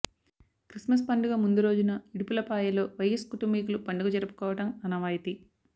Christmas పండుగ ముందురోజున ఇడుపులపాయలో వైఎస్ కుటుంబీకులు పండుగ జరుపుకోవడం ఆనవాయితీ